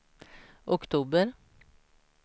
oktober